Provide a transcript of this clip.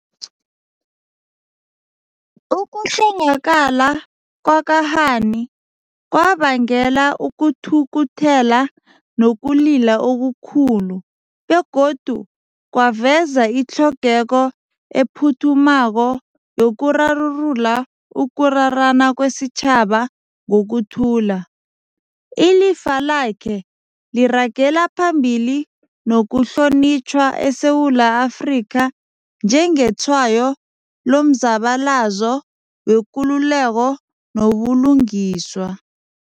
Ukuhlongakala kwaka-Hani kwabangela ukuthukuthela nokulila okukhulu, begodu kwaveza itlhogeko ephuthumako yokurarulula ukurarana kwesitjhaba ngokuthula. Ilifa lakhe liragela phambili nokuhlonitjhwa eSewula Afrika njengetshwayo lomzabalazo wekululeko nobulungiswa.